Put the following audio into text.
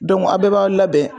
a' bɛɛ b'aw labɛn.